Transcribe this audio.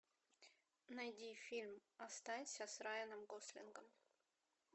найди фильм останься с райаном гослингом